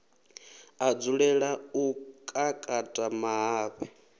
a dzulela u kakata mahafhe